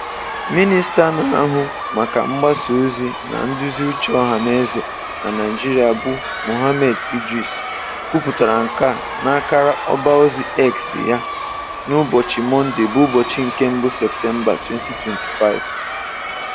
Minista na-ahụ maka mgbasaozi na nduziuche ọhanaeze na Naịjirịa bụ Mohammed Idris kwupụtara nke a n'akara ọbaozi X ya n'ụbọchị Mọnde 1 Septemba 2025.